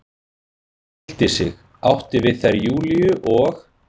og hryllti sig, átti við þær Júlíu og